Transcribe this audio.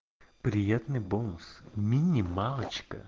приятный бонус минималочка